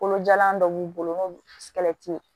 Kolojalan dɔ b'u bolo n'o ye